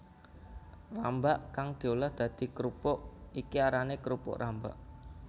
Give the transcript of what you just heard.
Rambak kang diolah dadi krupuk iki arané krupuk rambak